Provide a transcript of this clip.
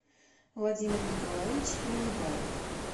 владимир николаевич минибаев